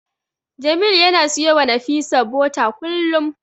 Jamil yana siyowa Nafisa bota kullum.